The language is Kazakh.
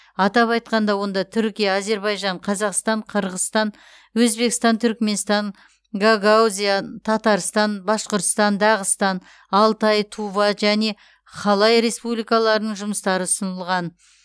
атап айтқанда онда түркия әзербайжан қазақстан қарғызстан өзбекстан түркіменстан гагаузия татарстан башқұртстан дағыстан алтай тува және халай республикаларының жұмыстары ұсынылған